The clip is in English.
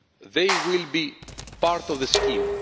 They will be part of the